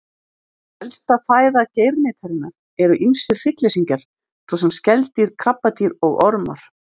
Helsta fæða geirnytarinnar eru ýmsir hryggleysingjar, svo sem skeldýr, krabbadýr og ormar.